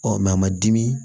a ma dimi